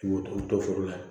foro la